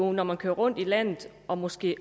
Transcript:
når man kører rundt i landet og måske